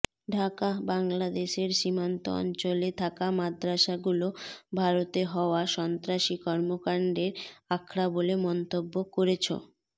ঢাকাঃ বাংলাদেশের সীমান্ত অঞ্চলে থাকা মাদ্রাসাগুলো ভারতে হওয়া সন্ত্রাসী কর্মকাণ্ডের আখড়া বলে মন্তব্য করেছ